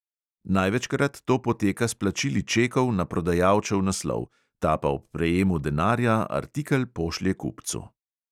Največkrat to poteka s plačili čekov na prodajalčev naslov, ta pa ob prejemu denarja artikel pošlje kupcu.